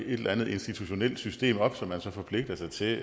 et eller andet institutionelt system op som man så forpligter sig til at